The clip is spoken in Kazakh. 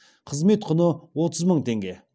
қызмет құны отыз мың теңге